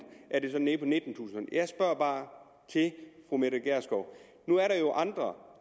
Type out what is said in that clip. er nede på nittentusind t fru mette gjerskov nu er der jo andre